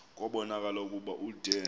kubonakala ukuba ude